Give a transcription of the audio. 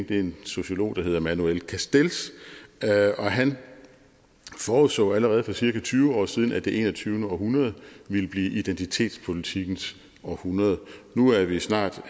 det er en sociolog der hedder manuel castells han forudså allerede for cirka tyve år siden at det enogtyvende århundrede ville blive identitetspolitikkens århundrede nu er vi snart